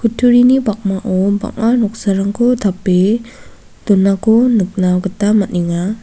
kutturini pakmao bang·a noksarangko tape donako nikna gita man·enga.